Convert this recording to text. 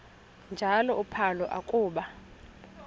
njalo uphalo akuba